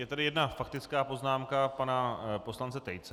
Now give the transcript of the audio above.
Je tady jedna faktická poznámka pana poslance Tejce.